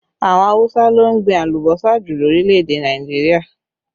Àwọn Awusa ló ń gbìn alùbọ́sà jù lórílẹ̀ èdè Nàìjíríà